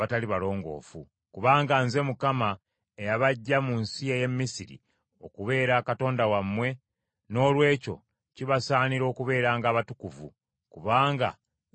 Kubanga Nze Mukama eyabaggya mu nsi ey’e Misiri, okubeera Katonda wammwe; noolwekyo kibasaanira okubeeranga abatukuvu, kubanga Nze ndi mutukuvu.